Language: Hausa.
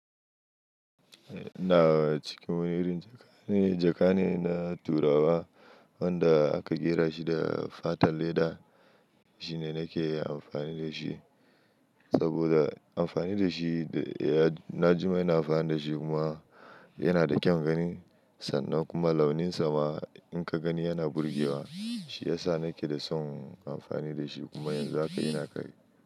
Eh, ina cikin wani irin jaka ne. Jaka ne na turawa wanda aka ƙera shi da fatan leda, shi ne nake amfani da shi. Saboda amfani da shi, ya-- na jima ina amfani da shi kuma yana da kyan gani sannan kuma launin sa ma in ka gani yana burge wa, shi ya sa nake da son amfani da shi kuma yanzu haka ina kai.